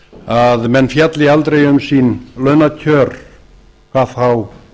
að menn fjalli aldrei um sín launakjör hvað þá